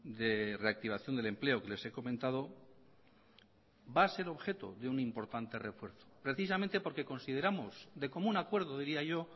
de reactivación del empleo que les he comentado va a ser objeto de un importante refuerzo precisamente porque consideramos de común acuerdo diría yo